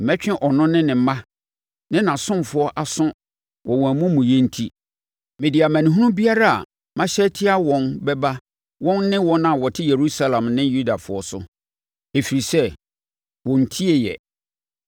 Mɛtwe ɔno ne ne mma ne nʼasomfoɔ aso wɔ wɔn amumuyɛ nti; mede amanehunu biara a mahyɛ atia wɔn bɛba wɔn ne wɔn a wɔte Yerusalem ne Yudafoɔ so, ɛfiri sɛ wɔnntieɛ.’ ”